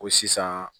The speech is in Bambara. Ko sisan